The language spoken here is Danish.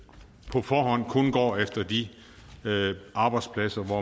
på forhånd kun går efter de arbejdspladser hvor